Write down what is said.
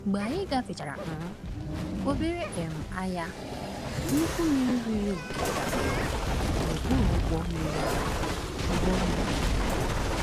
Mgbe anyị gafechara um obere um anya, nnukwu mmiri riri oke gafere n’okpuru ụgbọ mmiri anyị. ụgbọ mmiri anyị.